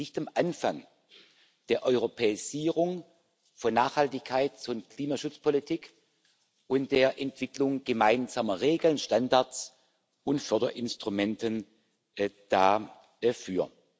Wir stehen nicht am Anfang der Europäisierung von Nachhaltigkeits und Klimaschutzpolitik und der Entwicklung gemeinsamer Regeln, Standards und Förderinstrumente dafür.